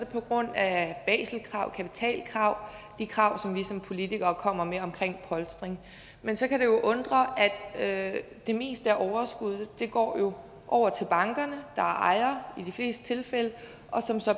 på grund af baselkrav kapitalkrav de krav som vi som politikere kommer med om polstring men så kan det jo undre at det meste af overskuddet går over til bankerne der er ejere i de fleste tilfælde og